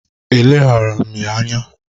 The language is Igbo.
E leghaara m ya anya.